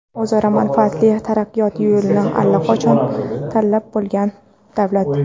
o‘zaro manfaatli taraqqiyot yo‘lini allaqachon tanlab bo‘lgan davlat.